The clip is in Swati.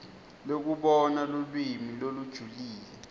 lekubona lulwimi lolujulile